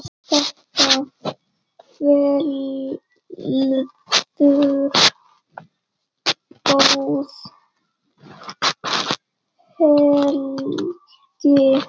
Þetta verður góð helgi.